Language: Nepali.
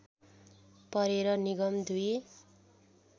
परेर निगम दुई